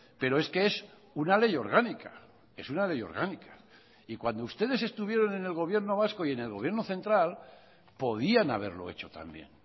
pero es que es una ley orgánica es una ley orgánica y cuando ustedes estuvieron en el gobierno vasco y en el gobierno central podían haberlo hecho también